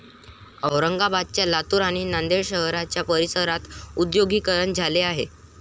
औरंगाबाद, लातूर आणि नांदेड शहराच्या परिसरात उद्योगीकरण झाले आहे.